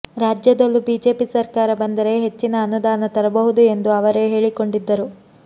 ರಾಜ್ಯದಲ್ಲೂ ಬಿಜೆಪಿ ಸರ್ಕಾರ ಬಂದರೆ ಹೆಚ್ಚಿನ ಅನುದಾನ ತರಬಹುದು ಎಂದು ಅವರೇ ಹೇಳಿಕೊಂಡಿದ್ದರು